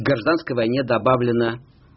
гражданской войне добавлено